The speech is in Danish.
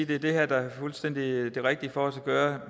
det er det her der er det fuldstændig rigtige for os at gøre